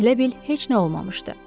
Elə bil heç nə olmamışdı.